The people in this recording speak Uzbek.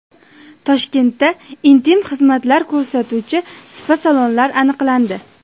Toshkentda intim xizmatlar ko‘rsatuvchi spa-salonlar aniqlandi.